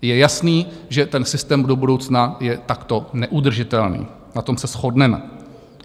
Je jasné, že ten systém do budoucna je takto neudržitelný, na tom se shodneme.